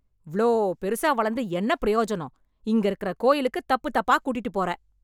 இவ்ளோ பெருசா வளந்து என்ன பிரயோஜனம், இங்க இருக்குற கோயிலுக்கு தப்பு தப்பா கூட்டிட்டுப் போற.